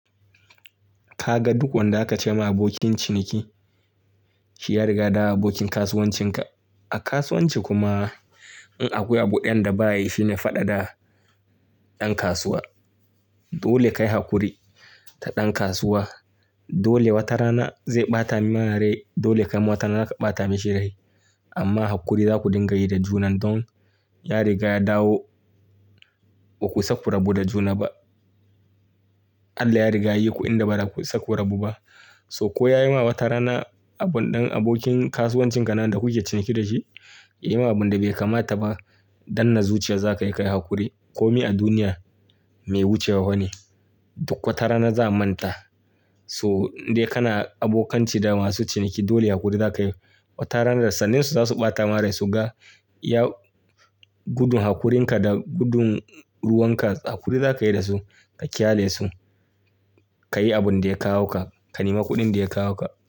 Ka ga duk wanda ka ce masa abokin ciniki, shi ya riga da abokin kasuwancinka. A kasuwanci kuma in akwai abu ɗayan da ba yi, shine faɗa da ɗan kasuwa. Dole ka yi hakuri ta ɗan kasuwa. Dole wata rana zai ɓata ma rai, dole kai ma wata rana ka ɓata mishi rai. Amma hakuri za ku dinga yi da juna don ya riga ya dawo ba ku isa ku rabu da juna ba. Allah ya riga ya yi ku inda ba za ku isa ku rabu ba. So ko ya yi ma wata rana abun ɗan abokin kasuwancinka nan da kuke ciniki da shi, ya yi ma abin da bai kamata ba, danna zuciya za ka yi ka yi hakuri. Komi a duniya mai wucewa bane. Duk wata rana za'a manta. So dai kana abokanci da masu ciniki, dole hakuri za ka yi. Wata rana da sannensu za su ɓata maka rai su ga, ya gudun hakurinka da gudun ruwanka. Hakuri za ka yi da su ka kyalale su. Ka yi abin da ya kawo ka, ka nema kuɗin da ya kawo ka.